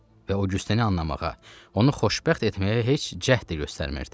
Və Oqyusteni anlamağa, onu xoşbəxt etməyə heç cəhd də göstərmirdi.